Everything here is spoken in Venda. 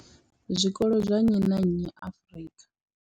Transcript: Zwikolo zwa nnyi na nnyi Afrika.